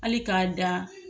Ali k'a dan